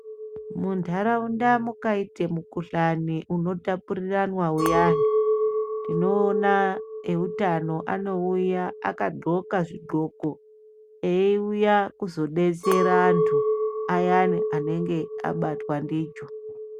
Munharaunda mukaite mukhuhlani unotapuriranwa uyani tinoona eutano anouya akadhloka zvidhloko eiuya kuzobetsera anhu ayani anonga abatwa ndicho.